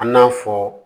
An n'a fɔ